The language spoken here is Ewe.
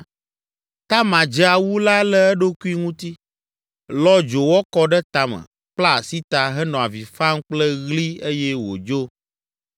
Tamar dze awu la le eɖokui ŋuti, lɔ dzowɔ kɔ ɖe tame, kpla asi ta, henɔ avi fam kple ɣli eye wòdzo.